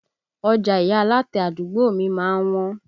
Ọjà ìyá alátẹ àdúgbò mi má ń wọ́n